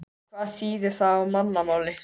Hvað þýðir það á mannamáli?